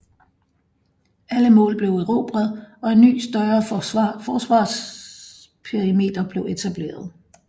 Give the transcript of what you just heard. Alle mål blev erobret og en ny større forsvarsperimeter blev etableret